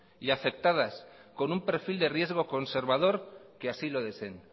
y aceptadas con un perfil de riesgo conservador que así lo deseen